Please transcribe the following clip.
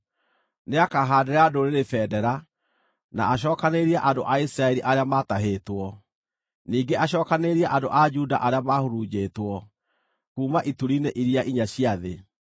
Nĩakahaandĩra ndũrĩrĩ bendera, na acookanĩrĩrie andũ a Isiraeli arĩa maatahĩtwo; ningĩ acookanĩrĩrie andũ a Juda arĩa maahurunjĩtwo kuuma ituri-inĩ iria inya cia thĩ.